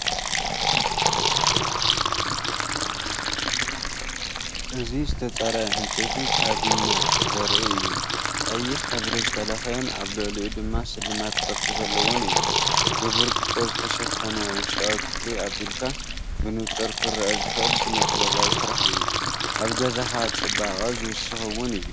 እዚ ዝተጸረየ ዕንጨይቲ ካቢነ ዘርኢ እዩ። ቀይሕ ሕብሪ ዝተለኽየን ኣብ ልዕሊኡ ድማ ስልማት ቅርጺ ዘለዎን እዩ። ብብርጭቆ ዝተሸፈነ ውሽጣዊ ክፍሊ ኣቢልካ ብንጹር ክርአ ዝኽእል ስነ-ጥበባዊ ስራሕ እዩ። ኣብ ገዛኻ ጽባቐ ዝውስኽ እዩ።